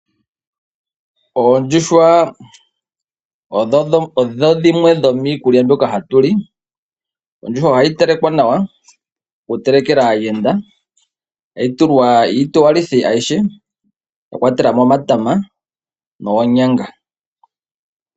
Oondjuhwa odho dhimwe dho mikulya mbyoka hatu li , ondjuhwa ohayi telekwa nawa, wutelekele aayenda tayi tulwa iitowalithi ayihe wa kwatelamo omatama noonyanga.